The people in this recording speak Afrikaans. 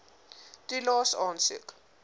toelaes aansoek